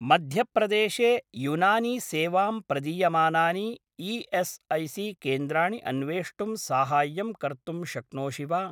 मध्य प्रदेशे युनानि सेवां प्रदीयमानानि ई.एस्.ऐ.सी.केन्द्राणि अन्वेष्टुं साहाय्यं कर्तुं शक्नोषि वा?